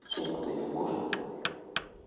тем кто не может